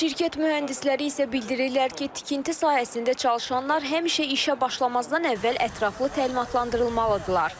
Şirkət mühəndisləri isə bildirirlər ki, tikinti sahəsində çalışanlar həmişə işə başlamazdan əvvəl ətraflı təlimatlandırılmalıdırlar.